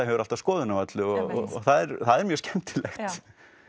hefur alltaf skoðun á öllu og það er mjög skemmtilegt